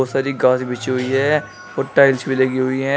सारी घास बिछी हुईं है और टाइल्स भी लगी हुई हैं।